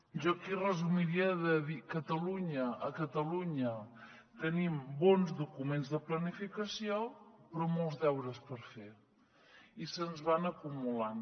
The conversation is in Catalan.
jo aquí ho resumiria dient que a catalunya tenim bons documents de planificació però molts deures per fer i se’ns van acumulant